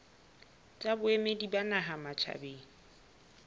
tsa boemedi ba naha matjhabeng